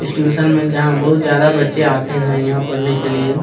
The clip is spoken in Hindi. इस ट्यूशन में जहाँ बहुत ज्यादा बच्चे आते है यहाँ पढ़ने के लिए --